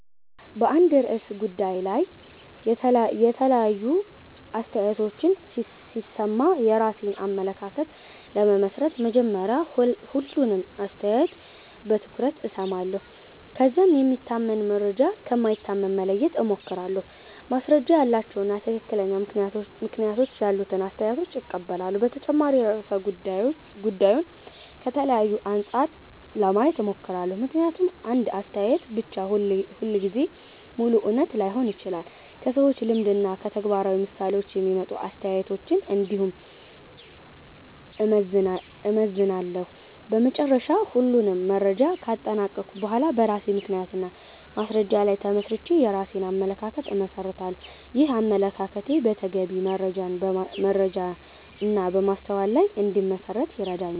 በአንድ ርዕሰ ጉዳይ ላይ የተለያዩ አስተያየቶችን ሲሰማ የራሴን አመለካከት ለመመስረት መጀመሪያ ሁሉንም አስተያየት በትኩረት እሰማለሁ። ከዚያም የሚታመን መረጃ ከማይታመን መለየት እሞክራለሁ፣ ማስረጃ ያላቸውን እና ትክክለኛ ምክንያቶች ያሉትን አስተያየቶች እቀበላለሁ። በተጨማሪም ርዕሰ ጉዳዩን ከተለያዩ አንጻሮች ለማየት እሞክራለሁ፣ ምክንያቱም አንድ አስተያየት ብቻ ሁልጊዜ ሙሉ እውነት ላይሆን ይችላል። ከሰዎች ልምድ እና ከተግባራዊ ምሳሌዎች የሚመጡ አስተያየቶችን እንዲሁም እመዘንላለሁ። በመጨረሻ ሁሉንም መረጃ ካጠናቀቅሁ በኋላ በራሴ ምክንያት እና በማስረጃ ላይ ተመስርቼ የራሴን አመለካከት እመሰርታለሁ። ይህም አመለካከቴ በተገቢ መረጃ እና በማስተዋል ላይ እንዲመሠረት ይረዳል።